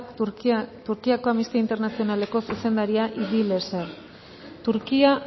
turkiako amnistia internazionaleko zuzendaria turquía